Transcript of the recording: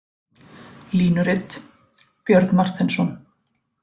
Línurit: Björn Marteinsson.